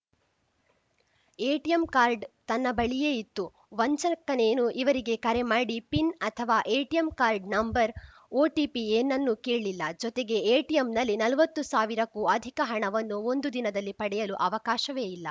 ATM card ತನ್ನ ಬಳಿಯೇ ಇತ್ತು ವಂಚಕನೇನು ಇವರಿಗೆ ಕರೆ ಮಾಡಿ ಪಿನ್‌ ಅಥವಾ ಎಟಿಎಂ ಕಾರ್ಡ್‌ ನಂಬರ್‌ ಒಟಿಪಿ ಏನನ್ನೂ ಕೇಳಿಲ್ಲ ಜೊತೆಗೆ ಎಟಿಎಂನಲ್ಲಿ ನಲ್ವತ್ತು ಸಾವಿರಕ್ಕೂ ಅಧಿಕ ಹಣವನ್ನು ಒಂದು ದಿನದಲ್ಲಿ ಪಡೆಯಲು ಅವಕಾಶವೇ ಇಲ್ಲ